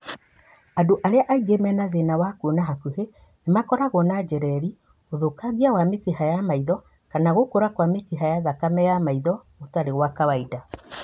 Andũ arĩa aingĩ mena thĩna wa kuona hakuhĩ, nĩmakoragwo na njereri, ũthũkangia wa mĩkiha ya maitho kana gũkũra kwa mĩkiha ya thakame ya maitho gũtarĩ gwa kawaida